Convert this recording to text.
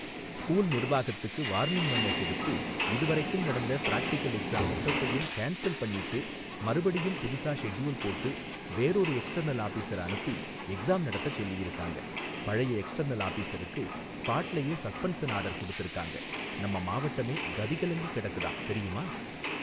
School நிர்வாகத்துக்கு warning memo குடுத்து இதுவரைக்கும் நடந்த பிராக்டிகல் எக்ஸாம் மொத்தத்தையும் கேன்சல் பண்ணீட்டு மறுபடியும் புதுசா ஷெட்யூல் போட்டு வேறொரு எக்ஸ்டர்னல் ஆபிஸர அனுப்பி எக்ஸாம் நடத்தச் சொல்லியிருக்காங்க பழைய எக்ஸ்டர்னல் ஆபிஸருக்கு ஸ்பாட்லயே சஸ்பன்சன் ஆர்டர் குடுத்துருக்காங்க நம்ம மாவட்டமே கதிகலங்கிக் கெடக்குதாம் தெரியுமா.